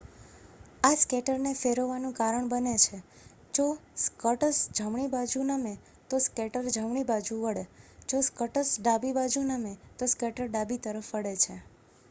આ સ્કેટર ને ફેરવવાનું કારણ બને છે જો સ્કટસ જમણી બાજુ નમે તો સ્કેટર જમણી તરફ વળે જો સ્કટસ ડાબી બાજુ નમે તો સ્કેટર ડાબી તરફ વળે છે